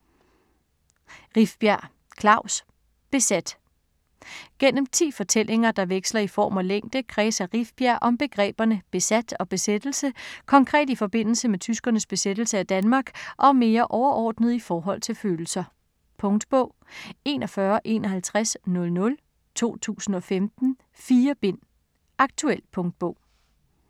Rifbjerg, Klaus: Besat Gennem 10 fortællinger, der veksler i form og længde, kredser Rifbjerg om begreberne "besat" og "besættelse". Konkret i forbindelse med tyskernes besættelse af Danmark og mere overordnet i forhold til følelser. Punktbog 415100 2015. 4 bind. Aktuel punktbog